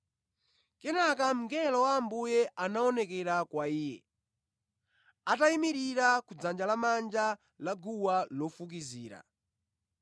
Kenaka mngelo wa Ambuye anaonekera kwa iye, atayimirira ku dzanja lamanja la guwa lofukizira.